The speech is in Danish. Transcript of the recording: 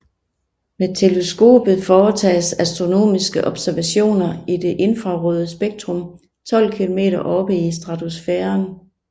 Med teleskopet foretages astronomiske observationer i det infrarøde spektrum 12 km oppe i stratosfæren